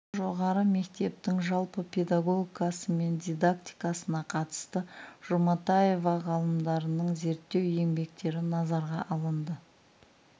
жоғары мектептің жалпы педагогикасы мен дидактикасына қатысты жұматаева ғалымдардың зерттеу еңбектері назарға алынды